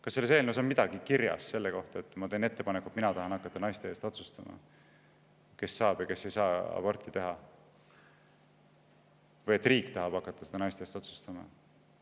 Kas selles eelnõus on kirjas midagi selle kohta, et mina tahan hakata naiste eest otsustama, kes saab aborti teha ja kes ei saa, või et ma teen ettepaneku, et riik hakkaks seda naiste eest otsustama?